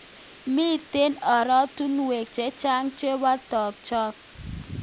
Mitei oratunwek chechang chebo tukjotok.